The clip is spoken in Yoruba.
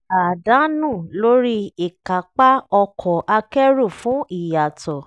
àdánù lórí ìkápá ọkọ̀ akẹ́rù fún ìyàtọ̀